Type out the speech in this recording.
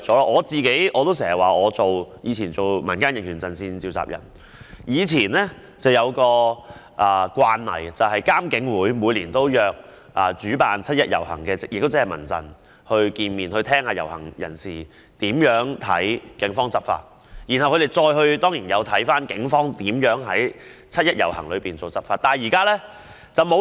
我以往擔任民間人權陣線召集人時有一個慣例，就是監警會每年均會約見"七一遊行"的主辦單位，聽取遊行人士對警方執法的意見，而且他們當然有翻看警方在"七一遊行"期間執法的方式。